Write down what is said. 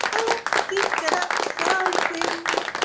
красавицы